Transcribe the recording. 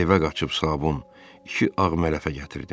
Evə qaçıb sabun, iki ağ mələfə gətirdim.